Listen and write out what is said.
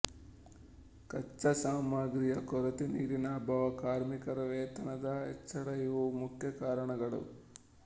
ಕಚ್ಚಾಸಾಮಗ್ರಿಯ ಕೊರತೆ ನೀರಿನ ಅಭಾವ ಕಾರ್ಮಿಕರ ವೇತನದ ಹೆಚ್ಚಳಇವು ಮುಖ್ಯ ಕಾರಣಗಳು